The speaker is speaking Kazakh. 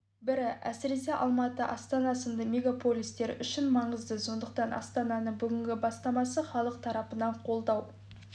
бірі әсіресе алматы астана сынды мегаполистер үшін маңызды сондықтан астананың бүгінгі бастамасы халық тарапынан қолдау